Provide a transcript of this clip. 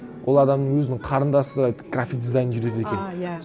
ол адамның өзінің қарындасы график дизайн жүргізеді екен а иә